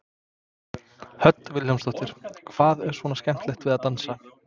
Hödd Vilhjálmsdóttir: Hvað er svona skemmtilegt við að dansa?